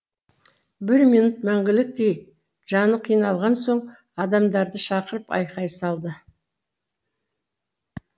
бір минут мәңгіліктей жаны қиналған соң адамдарды шақырып айқай салды